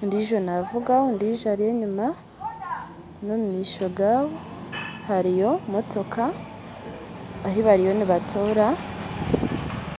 ondiijo navuga ondiijo ari enyima , nomumisho gaabo hariyo motooka, ahu bariyo nibatoora